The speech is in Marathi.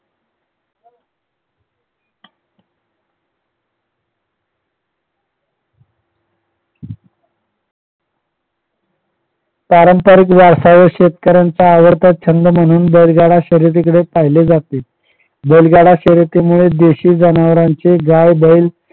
पारंपारिक वारसा व शेतकऱ्यांचा आवडता छंद म्हणून बैलगाडा शर्यतीकडे पाहिले जाते बैलगाडा शर्यतीमुळे देशी जनावरांचे गाय बैल